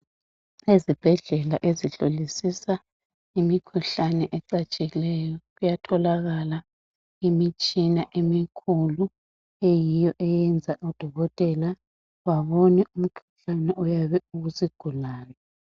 Ezibhedlela ezihlolisisa imikhuhlane ecatshileyo kuyatholakala imitshina emikhulu eyenza odokotela babone umkhuhlane oyabe ukusigulabe.